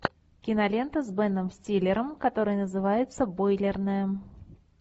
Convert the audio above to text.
кинолента с беном стиллером которая называется бойлерная